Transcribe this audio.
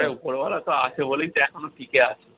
ওপরওয়ালা আছে বলেই তো এখনো টিকে আছো।